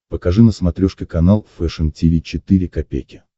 покажи на смотрешке канал фэшн ти ви четыре ка